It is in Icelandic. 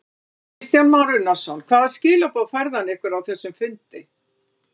Kristján Már Unnarsson: Hvaða skilaboð færði hann ykkur á þessum fundi?